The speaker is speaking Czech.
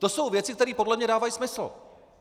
To jsou věci, které podle mne dávají smysl.